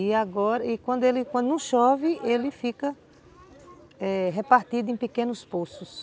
E agora, e quando não chove, ele fica eh repartido em pequenos poços.